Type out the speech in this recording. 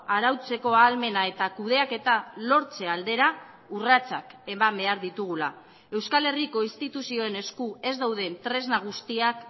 arautzeko ahalmena eta kudeaketa lortze aldera urratsak eman behar ditugula euskal herriko instituzioen esku ez dauden tresna guztiak